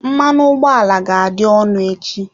Mmanụ ụgbọ ala ga-adị ọnụ echi.